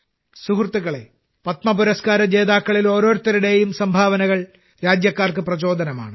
സുഹൃത്തുക്കളേ പത്മ പുരസ്കാര ജേതാക്കളിൽ ഓരോരുത്തരുടെയും സംഭാവനകൾ രാജ്യക്കാർക്ക് പ്രചോദനമാണ്